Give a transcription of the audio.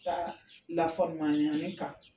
Taa lafamuyali kan